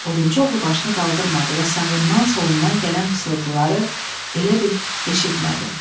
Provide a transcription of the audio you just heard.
Odunçu oğlu başını qaldırmadı və sağından, solundan gələn fısıltıları elə bil eşitmədi.